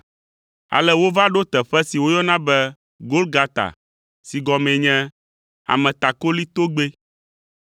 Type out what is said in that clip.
Ale wova ɖo teƒe si woyɔna be Golgata si gɔmee nye “Ametakoli Togbɛ.”